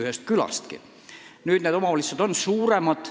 Aga nüüd on need omavalitsused suuremad.